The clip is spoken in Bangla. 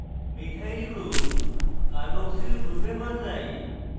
মিথাইল group carboxyl গ্রুপে বদলাই